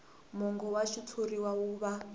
mongo wa xitshuriwa wu va